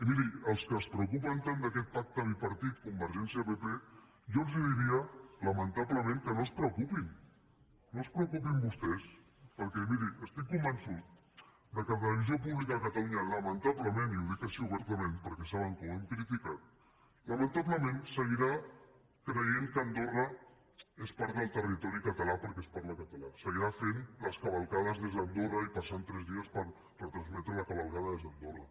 i miri als que es preocupen tant d’aquest pacte bipartit convergència pp jo els diria lamentablement que no es preocupin no es preocupin vostès perquè miri estic convençut que la televisió pública de catalunya lamentablement i ho dic així obertament perquè saben que ho hem criticat lamentablement seguirà creient que andorra és part del territori català perquè s’hi parla català seguirà fent les cavalcades des d’andorra i passant tres dies per retransmetre la cavalcada des d’andorra